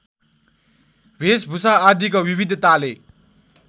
भेषभूषा आदिको विविधताले